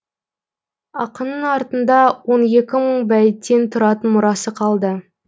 ақынның артында он екі мың бәйіттен тұратын мұрасы қалды